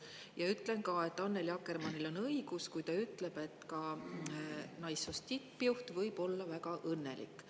Ja ütlen ka, et Annely Akkermannil on õigus, kui ta ütleb, et ka naissoost tippjuht võib olla väga õnnelik.